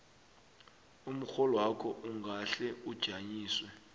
umrholwakho ungahle ujanyiswe